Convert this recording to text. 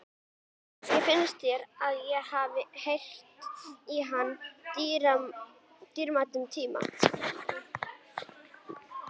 Kannski finnst þér að ég hafi eytt í hana dýrmætum tíma.